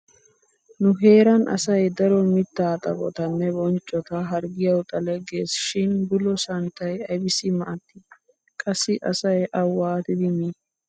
Nu heeran asay daro mittaa xaphotanne bonccota harggiyawu xale geesi shin bulo santtay aybissi maaddii? Qassi asay a waatidi mii?